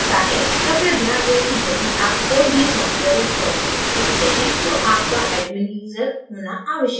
कृपया ध्यान दें कि यदि आप कोई भी सॉफ्टवेयर install करना चाहते हैं तो आपका admin यूजर होना आवश्यक है